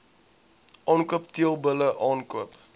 aankoop teelbulle aankoop